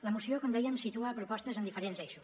la moció com dèiem situa propostes en diferents eixos